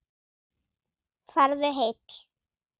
Farðu heill.